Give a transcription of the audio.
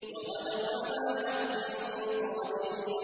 وَغَدَوْا عَلَىٰ حَرْدٍ قَادِرِينَ